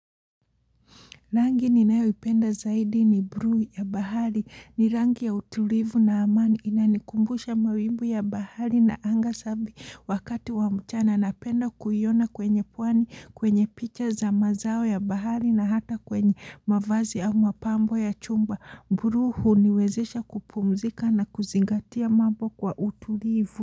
Rangi ni nayoipenda zaidi ni bluu ya bahari ni rangi ya utulivu na amani inanikumbusha mawimbu ya bahari na anga sabi wakati wa mchana na penda kuiona kwenye pwani kwenye picha za mazao ya bahari na hata kwenye mavazi au mapambo ya chumba. Bluu huniwezesha kupumzika na kuzingatia mambo kwa utulivu.